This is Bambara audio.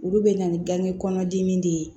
Olu bɛ na ni ganŋe kɔnɔdimi de ye